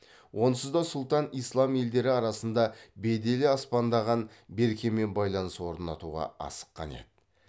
онсыз да сұлтан ислам елдері арасында беделі аспандаған беркемен байланыс орнатуға асыққан еді